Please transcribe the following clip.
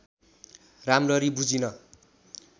राम्ररी बुझिन